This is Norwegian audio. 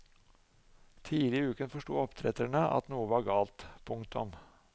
Tidlig i uken forsto oppdretterne at noe var galt. punktum